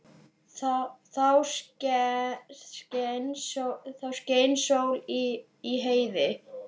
Þá skein sól í heiði.